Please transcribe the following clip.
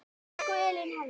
Elsku Elín Helga.